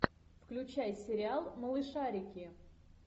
включай сериал малышарики